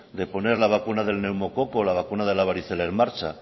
de poner la vacuna del neumococo la vacuna de la varicela en marcha